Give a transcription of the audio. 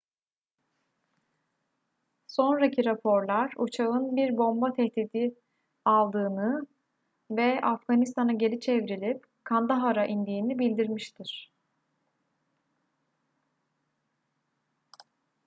sonraki raporlar uçağın bir bomba tehditi aldığını ve afganistan'a geri çevrilip kandahar'a indiğini bildirmiştir